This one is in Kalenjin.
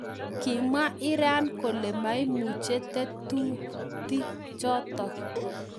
Kimwaa Iran kolee memuchii tetuti chotok